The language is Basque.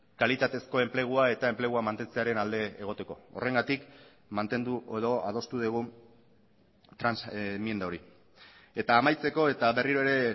kalitatezko enplegua eta enplegua mantentzearen alde egoteko horregatik mantendu edo adostu dugu enmienda hori eta amaitzeko eta berriro ere